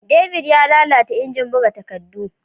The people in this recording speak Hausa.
David ya lalata ingin buga takaddu.